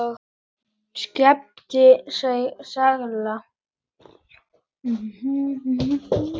Skipin sigla.